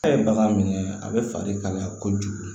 A' ye bagan minɛ a bɛ fali kalaya kojugu